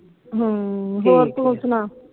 ਹਮ ਹੋਰ ਤੂੰ ਸਣਾ